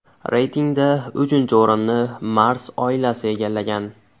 Reytingda uchinchi o‘rinni Mars oilasi egallagan.